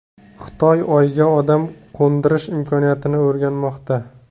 Xitoy Oyga odam qo‘ndirish imkoniyatini o‘rganmoqda.